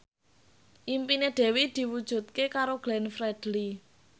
impine Dewi diwujudke karo Glenn Fredly